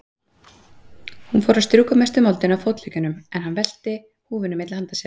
Hún fór að strjúka mestu moldina af fótleggjunum, en hann velti húfunni milli handa sér.